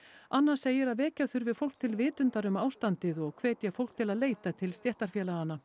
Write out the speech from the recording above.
anna segir að vekja þurfi fólk til vitundar um ástandið og hvetja fólk til að leita til stéttarfélaganna